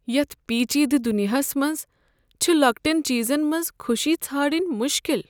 یتھ پیچیدٕ دنیاہس منٛز چھ لۄکٹٮ۪ن چیزن منٛز خوشی ژھانڈٕنۍ مُشکل۔